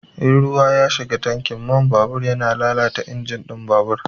In ruwa ya shiga tankin man babur yana lalata injin ɗin babur.